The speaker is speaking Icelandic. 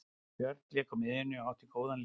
Björn lék á miðjunni og átti góðan leik.